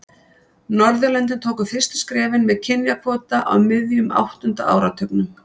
Norðurlöndin tóku fyrstu skrefin með kynjakvóta á miðjum áttunda áratugnum.